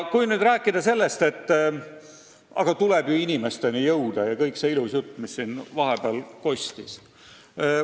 Kui nüüd rääkida sellest, et tuleb inimesteni jõuda, siis see kõik on ju ilus jutt, mis siin vahepeal kostis.